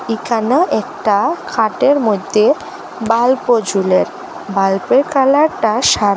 এখানেও একটা খাটের মইধ্যে বাল্বও ঝোলে বাল্বের কালারটা সা--